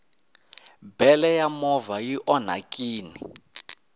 bele ya movha i onhakini